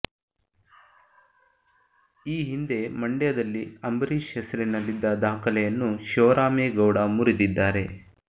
ಈ ಹಿಂದೆ ಮಂಡ್ಯದಲ್ಲಿ ಅಂಬರೀಶ್ ಹೆಸರಿನಲ್ಲಿದ್ದ ದಾಖಲೆಯನ್ನು ಶಿವರಾಮೇಗೌಡ ಮುರಿದಿದ್ದಾರೆ